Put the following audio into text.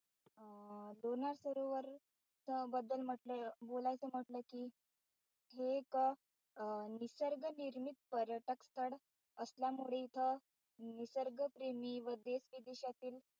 अं लोणार सरोवर च बद्दल बोलायचं म्हटलं कि हे एक अं निसर्ग निर्मित पर्यटक स्थळ असल्यामुळे इथं निसर्गप्रेमी व देशविदेशातील,